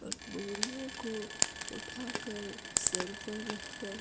और बोरियों को उठाकर सर पर रखकर --